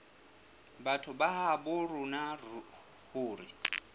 batho ba habo rona hore